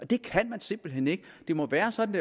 det kan man simpelt hen ikke det må være sådan